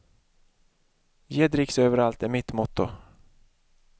Ge dricks överallt är mitt motto.